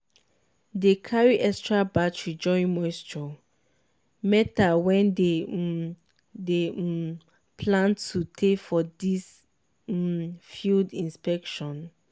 dey carry extra battery join moisture meter wen dey um dey um plan to tey for di um field inspection